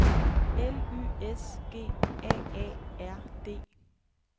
L Y S G A A R D